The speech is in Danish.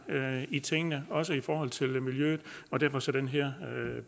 i tingene også i forhold til miljøet og derfor så den her